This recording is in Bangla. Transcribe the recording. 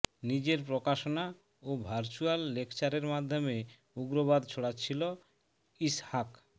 নিজের প্রকাশনা ও ভার্চুয়াল লেকচারের মাধ্যমে উগ্রবাদ ছড়াচ্ছিল ইসহাক